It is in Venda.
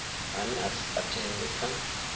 ane a si katelwe kha